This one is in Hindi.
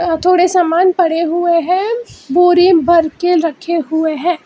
और थोड़े सामान पड़े हुए हैं बोरी में भर के रखे हुए हैं।